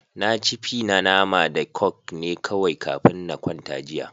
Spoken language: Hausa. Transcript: Na ci fi na nama da coke ne kawai kafin na kwanta jiya.